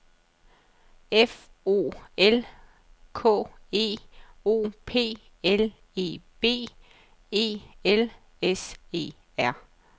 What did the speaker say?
F O L K E O P L E V E L S E R